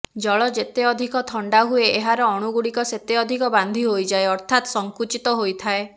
ଜଳ ଯେତେ ଅଧିକ ଥଣ୍ଡା ହୁଏ ଏହାର ଅଣୁଗୁଡ଼ିକ ସେତେ ଅଧିକ ବାନ୍ଧି ହୋଇଯାଏ ଅର୍ଥାତ୍ ସଙ୍କୁଚିତ ହୋଇଥାଏ